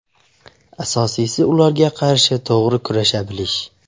Asosiysi ularga qarshi to‘g‘ri kurasha bilish.